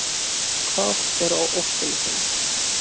Hvað er á óskalistanum?